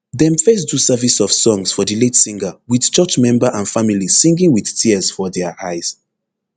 dem first do service of songs for di late singer wit church member and families singing wit tears for dia eyes